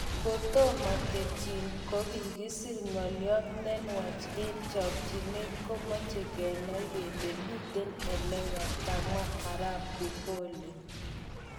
"kotomo ketyin, kokisir ngolyot nenwach eng chokyinet komoche kenai kele kimiten eleya, kamwa Arap Bufole.